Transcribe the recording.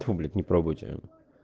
тьфу блять не пробуйте